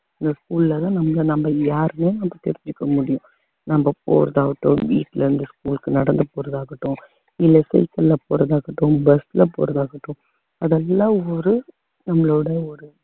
இந்த school ல தான் நம்மளை நம்ம யாருன்னே நம்ம தெரிஞ்சுக்க முடியும் நம்ம போறது ஆகட்டும் வீட்டுல இருந்து school க்கு நடந்து போறதாகட்டும் இல்ல school க்குள்ள போறதாகட்டும் bus ல போறதாகட்டும் அதெல்லாம் ஒரு நம்மளோட ஒரு